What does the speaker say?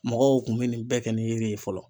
Mɔgɔw kun mi nin bɛɛ kɛ ni yiri ye fɔlɔ.